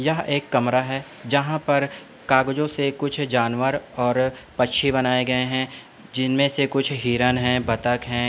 यह एक कमरा है जहां पर कागजों से कुछ जानवर और पक्षी बनाए गए है जिनमें से कुछ हिरण है बतख है।